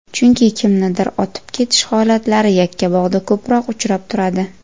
Chunki kimnidir otib ketish holatlari Yakkabog‘da ko‘proq uchrab turadi.